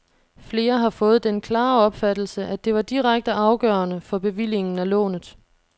Flere har fået den klare opfattelse, at det var direkte afgørende for bevillingen af lånet.